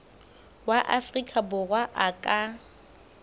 wa afrika borwa a ka